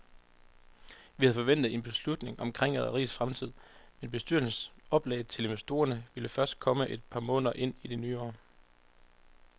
Vi havde forventet en beslutning omkring rederiets fremtid, men bestyrelsens oplæg til investorerne vil først komme et par måneder ind i det nye år.